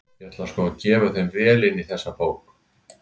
Ég ætla sko að gefa þeim vel inn í þessari bók!